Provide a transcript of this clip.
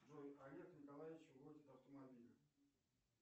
джой олег николаевич водит автомобиль